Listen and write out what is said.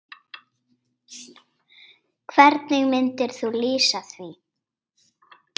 Hvernig myndir þú lýsa því?